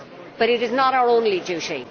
But it is not our only duty.